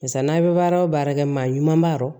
Barisa n'a bɛ baara o baara kɛ maa ɲuman b'a yɔrɔ